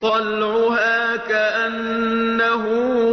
طَلْعُهَا كَأَنَّهُ